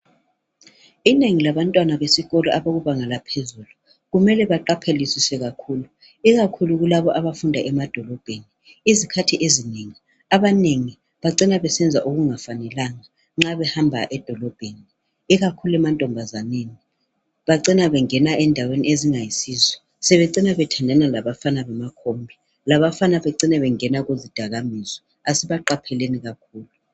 Inengi labantwana besikolo abakubanga laphezulu kumele baqaphelisiswe kakhulu, ikakhulu kulabo abafunda emadolobheni izikhathi ezinengi abanengi bacina besenza okungafanelanga nxa behamba edolobheni ikakhulu emantombazaneni bacina bengena endaweni ezingayisizo sebecina bethandana labafana bamakhombi , labafana bacine bengena kuzidakwaminzwa asibaqapheleni kakhulu.